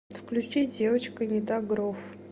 включи девочка не та грув